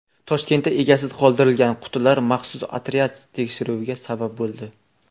Toshkentda egasiz qoldirilgan qutilar maxsus otryad tekshiruviga sabab bo‘ldi.